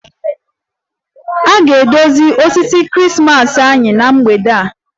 Anyị ga-edozi osisi Krismas anyị na mgbede a